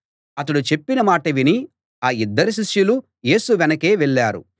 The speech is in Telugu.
అతడు చెప్పిన మాట విని ఆ యిద్దరు శిష్యులు యేసు వెనకే వెళ్ళారు